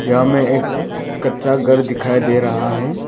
यहां में एक कच्चा घर दिखाई दे रहा है।